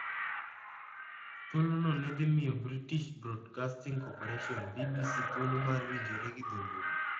Thuolo no ne dhi miyo British Broadcasting Corporation(BBC) thuolo mar winjore gi dholuo.